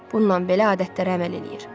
Bununla belə adətlərə əməl eləyir.